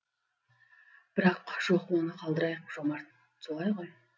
бірақ жоқ оны қалдырайық жомарт солай ғой